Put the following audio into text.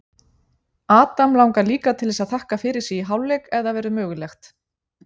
Adam langar líka til þess að þakka fyrir sig í hálfleik ef það verður mögulegt.